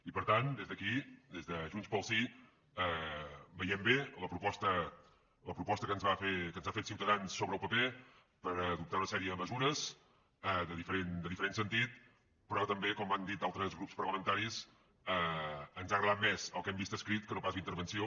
i per tant des d’aquí des de junts pel sí veiem bé la proposta que ens ha fet ciutadans sobre el paper per adoptar una sèrie de mesures de diferent sentit però també com han dit altres grups parlamentaris ens ha agradat més el que hem vist escrit que no pas la intervenció